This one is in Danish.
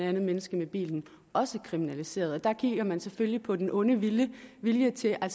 andet menneske med bilen også kriminaliseret og der kigger man selvfølgelig på den onde vilje vilje til at